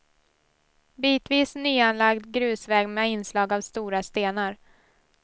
Bitvis nyanlagd grusväg med inslag av stora stenar.